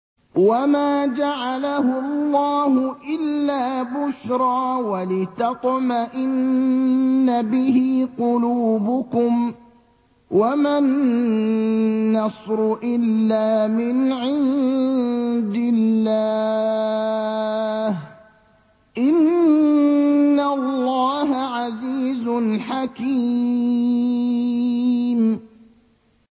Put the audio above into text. وَمَا جَعَلَهُ اللَّهُ إِلَّا بُشْرَىٰ وَلِتَطْمَئِنَّ بِهِ قُلُوبُكُمْ ۚ وَمَا النَّصْرُ إِلَّا مِنْ عِندِ اللَّهِ ۚ إِنَّ اللَّهَ عَزِيزٌ حَكِيمٌ